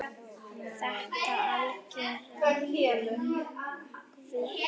Þetta algera öngvit?